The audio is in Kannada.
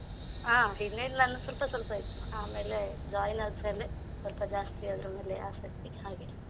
ಹಾ, ಹಿಂದೆ ಎಲ್ಲ ಸ್ವಲ್ಪ ಸ್ವಲ್ಪ ಇತ್ತು ಆಮೇಲೆ join ಆದ್ಮೇಲೆ ಸ್ವಲ್ಪ ಜಾಸ್ತಿ ಅದ್ರ ಮೇಲೆ ಆಸಕ್ತಿ ಹಾಗೆ.